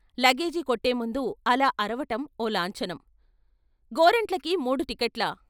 Luggage కొట్టే ముందు అలా అరవటం ఓ లాంఛనం గోరంట్లకి మూడు టిక్కట్లా?